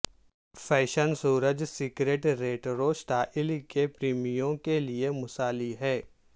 fashion سورج skirt retro style کے پریمیوں کے لئے مثالی ہے